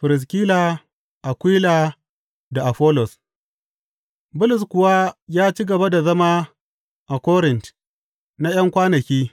Firiskila, Akwila da Afollos Bulus kuwa ya ci gaba da zama a Korint na ’yan kwanaki.